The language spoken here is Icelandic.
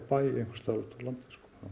landi